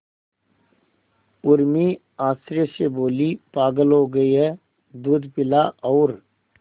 उर्मी आश्चर्य से बोली पागल हो गई है दूध पिला और